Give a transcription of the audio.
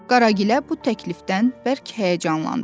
Qaragilə bu təklifdən bərk həyəcanlandı.